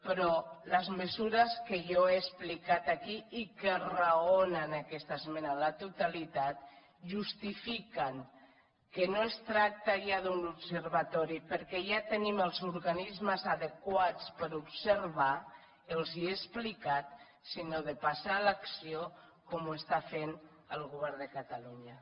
però les mesures que jo he explicat aquí i que raonen aquesta esmena a la totalitat justifiquen que no es tracta ja d’un observatori perquè ja tenim els organismes adequats per observar els ho he explicat sinó de passar a l’acció com ho està fent el govern de catalunya